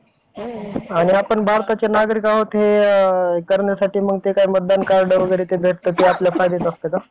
आणि मला देवाचे पारायण करायलाही आवडतं, देवाच्या मंदिरामध्येही जायला आवडतं सगळं काही करायला मला आवडतं आणि महाराष्ट्रामध्ये पूर्वी एक सौंदर्यआहे, तसेच महाराष्ट्राला विविध जाती, धर्म